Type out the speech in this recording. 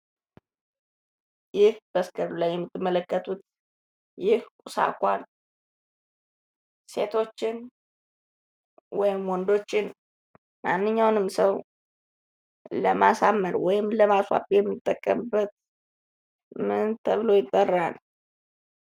ይህ በስክሪኑ ላይ የምንመለከተው ይህ ቁስ አካል ሴቶችን ወይም ወንዶችን ማንኛውንም ሰው ለማሳመር ወይም የምንጠቀምበት ምን ተብሎ ይጠራል?